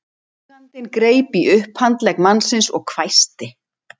Eigandinn greip í upphandlegg mannsins og hvæsti